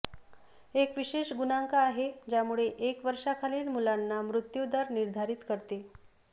एक विशेष गुणांक आहे ज्यामुळे एक वर्षाखालील मुलांना मृत्यु दर निर्धारित करते